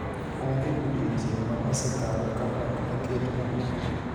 onge pdiochieng' ma osekalo ka ok aketo kungo